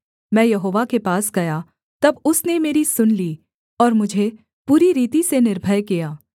मैं यहोवा के पास गया तब उसने मेरी सुन ली और मुझे पूरी रीति से निर्भय किया